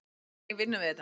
Þannig vinnum við þetta.